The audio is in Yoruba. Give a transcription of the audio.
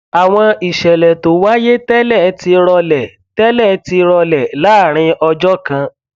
àwọn ìṣẹlẹ tó wáyé tẹlẹ ti rọlẹ tẹlẹ ti rọlẹ láàárín ọjọ kan